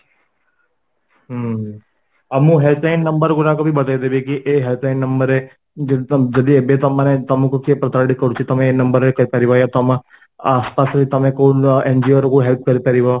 ହୁ ଆଉ ମୁଁ Helping number ଗୁଡ଼ାକ ବି ବତେଇ ଦେବୀ କି ଏଇ Helping number ରେ ଯଦି ଯଦି ଏବେ ତମ ମାନେ ତମକୁ କିଏ ପ୍ରତାରିତ କରୁଛି ତମେ ଏଇ number ରେ କରିପାରବ ତମ ଆସପାସରେ ତମେ କୋଉ NGO କୁ help କରି ପାରିବ